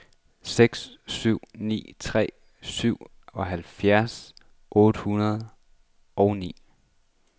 seks syv ni tre syvoghalvfjerds otte hundrede og ni